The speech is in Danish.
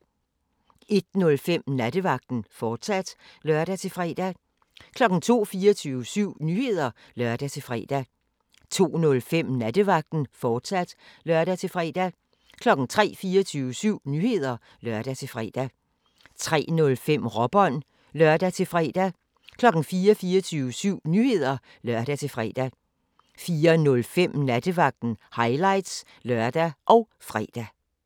01:05: Nattevagten, fortsat (lør-fre) 02:00: 24syv Nyheder (lør-fre) 02:05: Nattevagten, fortsat (lør-fre) 03:00: 24syv Nyheder (lør-fre) 03:05: Råbånd (lør-fre) 04:00: 24syv Nyheder (lør-fre) 04:05: Nattevagten – highlights (lør og fre)